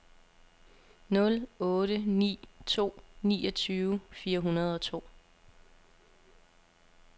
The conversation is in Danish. nul otte ni to niogtyve fire hundrede og to